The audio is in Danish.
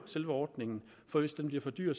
selve ordningen for hvis den bliver for dyr